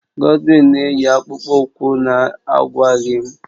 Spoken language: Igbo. Godwin na-eyi akpụkpọ ụkwụ na-agwaghị m